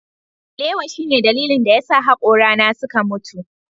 Alewa shine dalilin da yasa hakorana suka mutu.